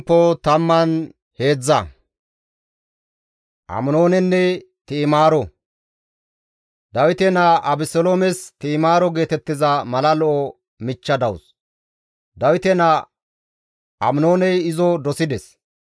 Dawite naa Abeseloomes Ti7imaaro geetettiza mala lo7o michcha dawus; Dawite naa Aminooney izo dosides.